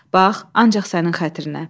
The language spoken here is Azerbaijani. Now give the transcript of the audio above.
Bax, ancaq sənin xətrinə.